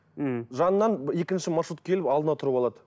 ммм жанынан екінші маршрут келіп алдына тұрып алады